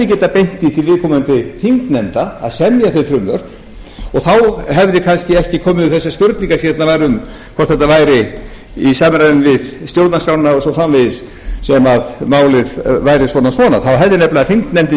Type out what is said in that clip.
getað beint því til viðkomandi þingnefnda að semja þau frumvörp og þá hefði kannski ekki komið upp þessi spurningar sem fjallað var um hvort þetta væri í samræmi við stjórnarskrána og svo framvegis sem málið væri svona og svona þá hefði þingnefndin